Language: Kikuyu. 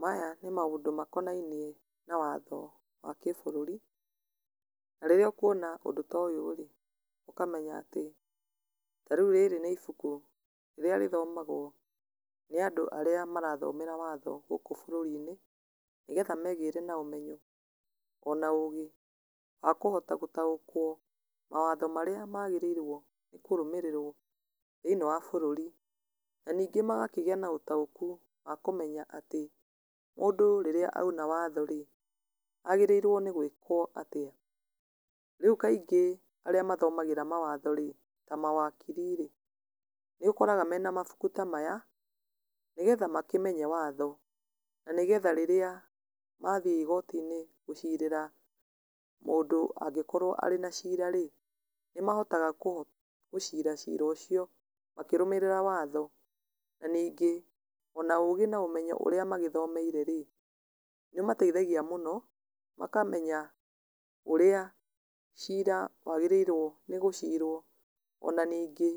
Maya nĩ maũndũ makonainie na watho wagĩbũrũri, na rĩrĩa ũkuona ũndũ ta ũyũ rĩ, ũkamenya atĩ, tarĩu rĩrĩ nĩ ibuku, rĩrĩa rĩthomagwo nĩ andũ arĩa marathomera watho gũkũ bũrũri-inĩ, nĩgetha megĩre na ũmenyo, ona ũgĩ wa kũhota gũtaũkwo mawatho marĩa magĩrĩirwo kũrũmĩrĩrwo thĩinĩ wa bũrũri. Na ningĩ magakĩgĩa na ũtaũku wa kũmenya atĩ, mũndũ rĩrĩa aina watho rĩ, agĩrĩirwo nĩ gwĩkwo atĩa? Rĩu kaingĩ arĩa mathomagĩra mawatho rĩ, ta mawakiri rĩ, nĩ ũkoraga mena mabuku ta maya, nĩgetha makĩmenye watho, na nĩ getha rĩrĩa mathiĩ igoti-inĩ gũcirĩra mũndũ angĩkorwo arĩ nacira rĩ, nĩ mahotaga kũ gũcira cira ũcio, makĩrũmĩrĩra watho. Na ningĩ ona ũgĩ na ũmenyo ũrĩa magĩthomeire rĩ, nĩ ũmateithagia mũno makamenya ũrĩa cira wagĩrĩirwo nĩ gũcirwo, ona ningĩ